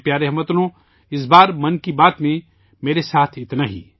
میرے پیارے ہم وطنو، اس بار 'من کی بات' میں میرے ساتھ اتنا ہی